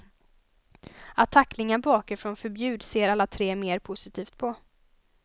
Att tacklingar bakifrån förbjuds ser alla tre mer positivt på.